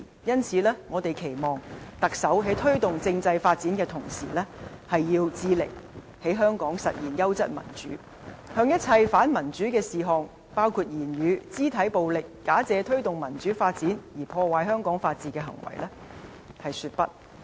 因此，我們期望特首在推動政制發展的同時，致力在香港實現優質民主，向一切反民主的事項，包括言語、肢體暴力、假借推動民主發展而破壞香港法治的行為說不。